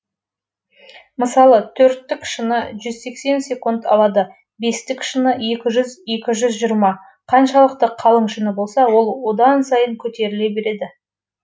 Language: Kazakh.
мысалы төрттік шыны жүз сексен секунд алады бестік шыны екі жүз екі жүз жиырма қаншалықты қалың шыны болса ол одан сайын көтеріле береді